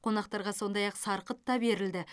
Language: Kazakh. қонақтарға сондай ақ сарқыт та берілді